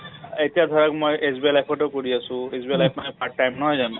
এতিয়া ধৰক মই SBI life টো কৰি আছোঁ । SBI life মানে part time নহয় জানো ?